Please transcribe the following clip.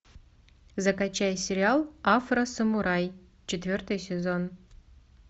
закачай сериал афросамурай четвертый сезон